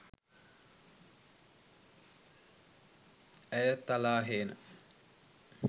ඇය තලාහේන